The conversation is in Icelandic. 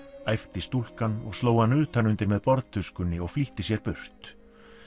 æpti stúlkan og sló hann utanundir með borðtuskunni og flýtti sér burt